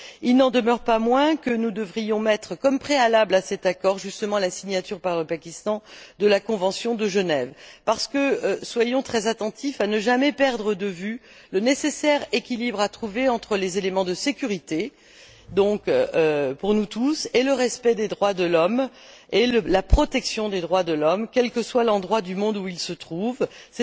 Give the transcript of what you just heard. Il n'en demeure pas moins que nous devrions mettre comme préalable à cet accord justement la signature par le Pakistan de la convention de Genève, parce que nous devons être très attentifs à ne jamais perdre de vue le nécessaire équilibre à trouver entre les éléments de sécurité pour nous tous et le respect et la protection des droits de l'homme, quel que soit l'endroit du monde qui est en cause.